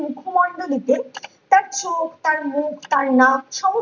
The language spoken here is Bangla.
মুখমণ্ডল রূপে তার চোখ তার মুখ তার নাক সবই